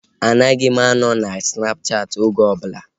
Anaghị m anọ na Snapchaati oge ọbụla